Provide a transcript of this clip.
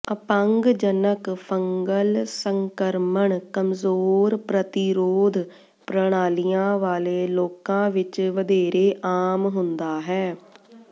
ਅਪੰਗਜਨਕ fungal ਸੰਕਰਮਣ ਕਮਜ਼ੋਰ ਪ੍ਰਤੀਰੋਧ ਪ੍ਰਣਾਲੀਆਂ ਵਾਲੇ ਲੋਕਾਂ ਵਿੱਚ ਵਧੇਰੇ ਆਮ ਹੁੰਦਾ ਹੈ